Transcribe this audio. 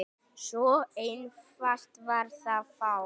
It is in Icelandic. Svo einfalt var það þá.